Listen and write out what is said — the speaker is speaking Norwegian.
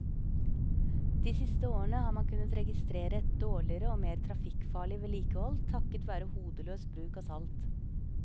De siste årene har man kunnet registrere et dårligere og mer trafikkfarlig vedlikehold takket være hodeløs bruk av salt.